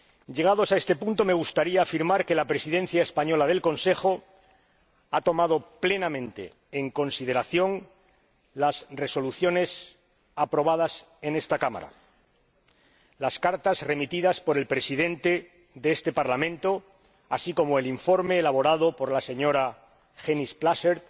Llegados a este punto, me gustaría afirmar que la Presidencia española del Consejo ha tomado plenamente en consideración las resoluciones aprobadas en esta Cámara y las cartas remitidas por el Presidente de este Parlamento, así como el informe elaborado por la señora Hennis Plasschaert,